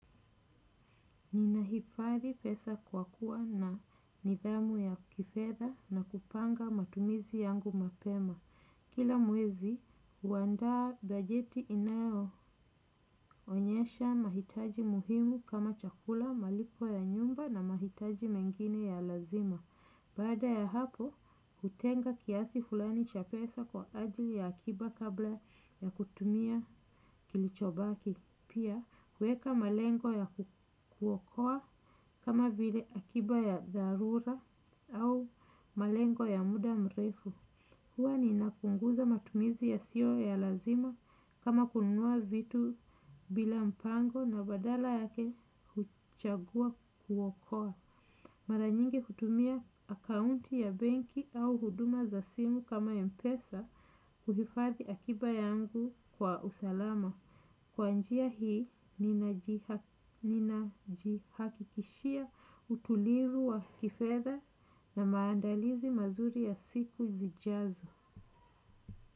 Ninaihifadhi pesa kwa kuwa na nidhamu ya kifedha na kupanga matumizi yangu mapema. Kila mwezi, huandaa bajeti inayoonyesha mahitaji muhimu kama chakula, malipo ya nyumba na mahitaji mengine ya lazima. Baada ya hapo, hutenga kiasi fulani cha pesa kwa ajili ya akiba kabla ya kutumia kilichobaki. Pia, kuweka malengo ya kuokoa kama vile akiba ya dharura au malengo ya muda mrefu. Huwa ninapunguza matumizi yasiyo ya lazima kama kununua vitu bila mpango na badala yake kuchagua kuokoa. Mara nyingi kutumia akaunti ya benki au huduma za simu kama mpesa kuhifadhi akiba yangu kwa usalama. Kwa njia hii, ninajihakikishia utulivu wa kifedha na maandalizi mazuri ya siku zijazo.